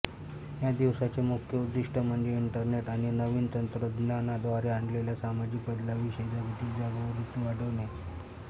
या दिवसाचे मुख्य उद्दीष्ट म्हणजे इंटरनेट आणि नवीन तंत्रज्ञानाद्वारे आणलेल्या सामाजिक बदलांविषयी जागतिक जागरूकता वाढविणे